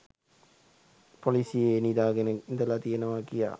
පොලීසියේ නිදාගෙන ඉඳලා තියනවා කියා